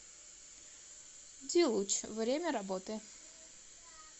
дилуч время работы